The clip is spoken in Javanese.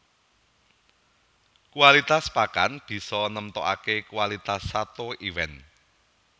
Kualitas pakan bisa nemtokaké kualitas sato iwèn